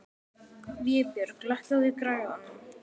Vébjörg, lækkaðu í græjunum.